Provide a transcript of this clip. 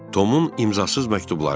Tomun imzasız məktubları.